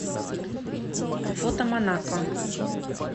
фото манако